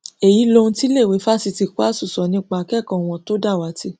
èyí lohun tíléèwé fásitì kwásù sọ nípa akẹkọọ wọn tó dàwátì